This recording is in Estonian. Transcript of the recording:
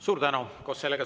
Suur tänu!